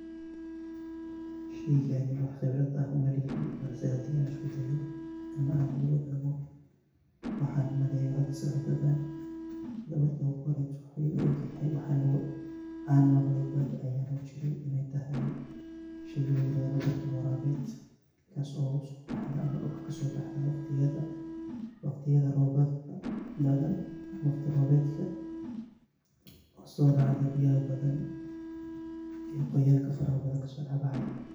Sheeygani waxa qeebratvaah umalihi, balsi handi iskudaaho ilmahan mark lo egoh marki ugu hori waxu ila egtahay waxan an maqhalay markan baadiya jokay inaytahay sheey layiradoh barking warabeet kasobdulka kaso baxdoh waqdiyada roobka oo so racdoh biyahay bathan ee qoyanka faraha bathan kasodaxbaxdoh.